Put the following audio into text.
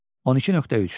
12.3.